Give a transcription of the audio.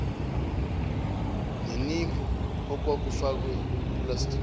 neniphu okwakufakwe epulastikini